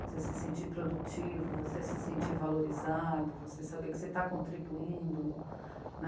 Você se sentir produtivo, você se sentir valorizado, você saber que você está contribuindo, né?